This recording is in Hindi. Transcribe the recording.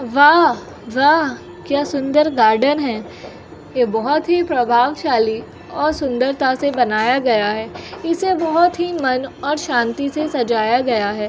वाह वाह क्या सुंदर गार्डन है। ये बोहत ही प्रभावशाली और सुंदरता से बनाया गया है। इसे बोहत ही मन और शांति से सजाया गया है।